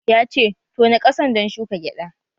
Ya ce 'Tona ƙasan dan shuka gyada'!